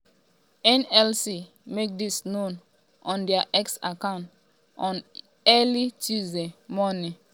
nlc make dis known on dia x account on early tuesday morning.